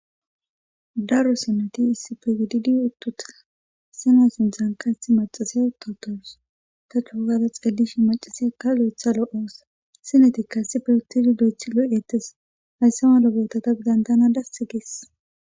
daro sineti issipe gididi uttuta sena sinthan ka ati maxasiya utawutoos ta chuowada xeelishi macasiya ka lo7etha lo7oosa sinetikka assife huttidi do7ethi lo7ettes hayssa ma lobetata bidantana dass gis